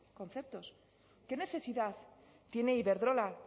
conceptos qué necesidad tiene iberdrola